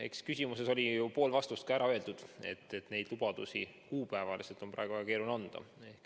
Eks küsimuses oli ju pool vastust ka ära öeldud, et neid lubadusi on kuupäevaliselt praegu väga keeruline anda.